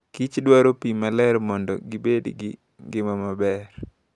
Kich dwaro pii maler mondo gi bedo gi ngima maber.